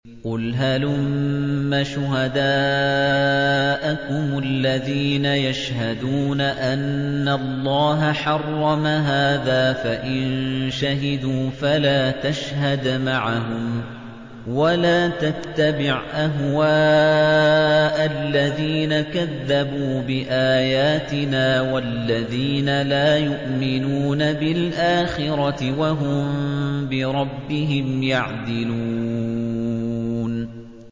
قُلْ هَلُمَّ شُهَدَاءَكُمُ الَّذِينَ يَشْهَدُونَ أَنَّ اللَّهَ حَرَّمَ هَٰذَا ۖ فَإِن شَهِدُوا فَلَا تَشْهَدْ مَعَهُمْ ۚ وَلَا تَتَّبِعْ أَهْوَاءَ الَّذِينَ كَذَّبُوا بِآيَاتِنَا وَالَّذِينَ لَا يُؤْمِنُونَ بِالْآخِرَةِ وَهُم بِرَبِّهِمْ يَعْدِلُونَ